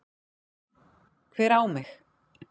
Hver á mig?